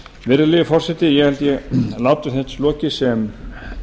virðulegi forseti ég held ég láti þessu lokið sem